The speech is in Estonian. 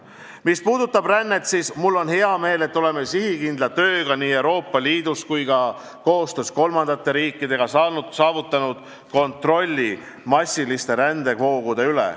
Mis puudutab rännet, siis mul on hea meel, et oleme sihikindla tööga nii Euroopa Liidus kui ka koostöös kolmandate riikidega saavutanud kontrolli massilise rände voogude üle.